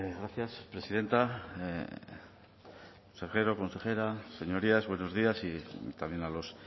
gracias presidenta consejero consejera señorías buenos días y también a los